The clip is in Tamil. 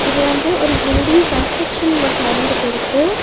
இது வந்து ஒரு பில்டிங் கன்ஸ்ட்ரக்ஷன் வொர்க் நடந்துட்டு இருக்கு.